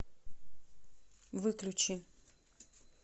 выключи